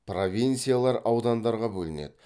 провинциялар аудандарға бөлінеді